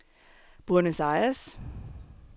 Buenos Aires